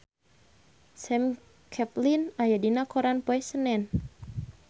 Sam Claflin aya dina koran poe Senen